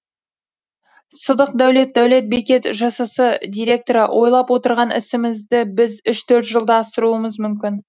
сыдық дәулет дәулет бекет жшс директоры ойлап отырған ісімізді біз үш төрт жылда асыруымыз мүмкін